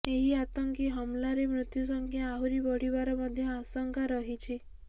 ଏହି ଆତଙ୍କି ହମଲାରେ ମୃତ୍ୟୁ ସଂଖ୍ୟା ଆହୁରି ବଢିବାର ମଧ୍ୟ ଆଶଙ୍କା ରହିଛି